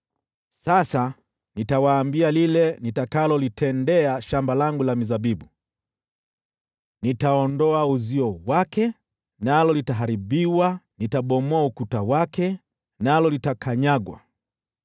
Sasa nitawaambia lile nitakalolitendea shamba langu la mizabibu: Nitaondoa uzio wake, nalo litaharibiwa, nitabomoa ukuta wake, nalo litakanyagwa.